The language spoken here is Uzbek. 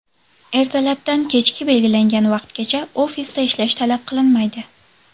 Ertalabdan kechki belgilangan vaqtgacha ofisda ishlash talab qilinmaydi.